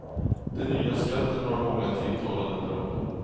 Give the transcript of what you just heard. Den nya skatten har många tilltalande drag.